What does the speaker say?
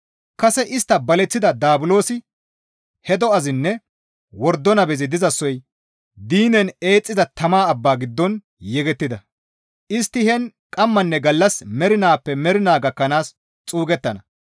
Kase istta baleththida Daabulosi he do7azinne wordo nabezi dizasoy diinen eexxiza tama abba giddon yegettida; istti heen qammanne gallas mernaappe mernaa gakkanaas xuugettana.